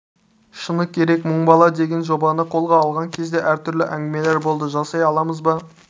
шыны керек мың бала деген жобаны қолға алған кезде әр түрлі әңгімелер болды жасай аламыз ба